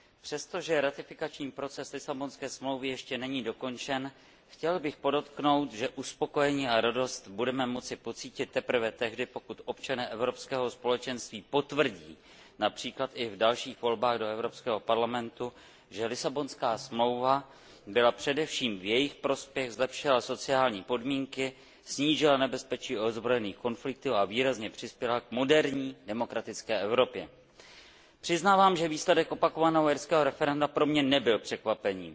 Přestože ratifikační proces Lisabonské smlouvy ještě není dokončen, chtěl bych podotknout, že uspokojení a radost budeme moci pocítit teprve tehdy, pokud občané Evropského společenství potvrdí, například i v dalších volbách do Evropského parlamentu, že Lisabonská smlouva byla především v jejich prospěch, zlepšila sociální podmínky, snížila nebezpeční ozbrojených konfliktů a výrazně přispěla k moderní demokratické Evropě. Přiznávám, že výsledek opakovaného irského referenda pro mě nebyl překvapením.